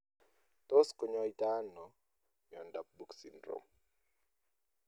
Tos kinyaita ano miondap Book syndrome.